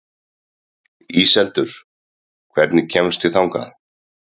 Íseldur, hvernig kemst ég þangað?